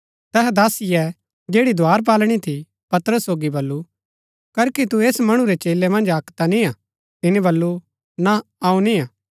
तैहै दासीये जैड़ी द्धारपाळणी थी पतरस सोगी बल्लू करखी तू ऐस मणु रै चेलै मन्ज अक्क ता निय्आ तिनी बल्लू ना अऊँ निय्आ